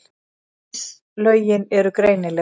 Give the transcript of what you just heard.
Íslögin eru greinileg.